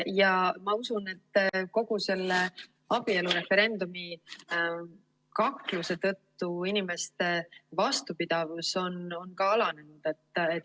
Ja ma usun, et kogu selle abielureferendumi kakluse tõttu inimeste vastupidavus on ka alanenud.